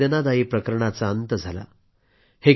एका वेदनादायी प्रकरणाचा अंत झाला